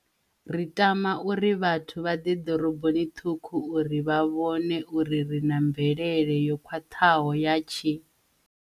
Ri tama uri vhathu vha ḓe doroboni ṱhukhu u ri vha vhone uri ri na mvelele yo khwaṱhaho ya tshi.